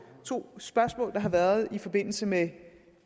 to spørgsmål der har været i forbindelse med